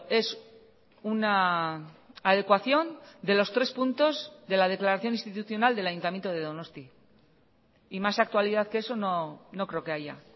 es una adecuación de los tres puntos de la declaración institucional del ayuntamiento de donosti y más actualidad que eso no creo que haya